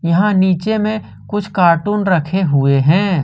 यहां नीचे में कुछ कार्टून रखे हुए हैं।